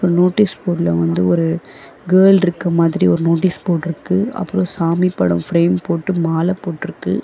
Notice போர்டுல வந்து ஒரு கேர்ள்ட்ருக்க மாதிரி ஒரு நோட்டீஸ் போர்ட்ருக்கு அப்றோ சாமி படோ ஃபிரேம் போட்டு மால போட்ருக்கு.